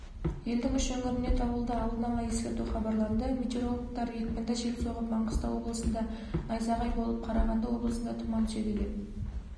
елдің үш өңіріне дауылды алдын ала ескерту хабарланды метеорологтар екпінді жел соғып маңғыстау облысында найзағай болып қарағанды облысында тұман түседі деп